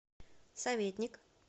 советник